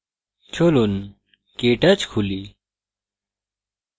চলুন কেটচ খুলি